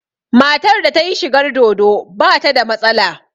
Matar da ta yi shigar dodo ba ta da matsala